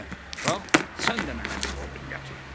Qalx, sən də mənə bir odun gətir.